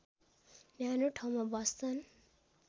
न्यानो ठाउँमा बस्छन्